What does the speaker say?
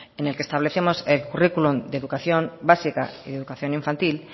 en el que establecemos curriculum de educación básica y educación infantil